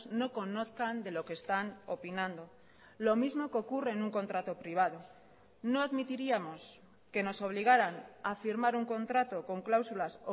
no conozcan de lo que están opinando lo mismo que ocurre en un contrato privado no admitiríamos que nos obligaran a firmar un contrato con cláusulas